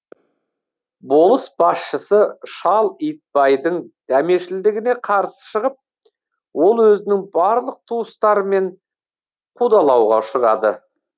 болыс басшысы шал итбайдың дәмешілдігіне қарсы шығып ол өзінің барлық туыстарымен қудалауға ұшырады